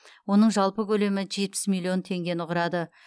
оның жалпы көлемі жетпіс миллион тенгені құрады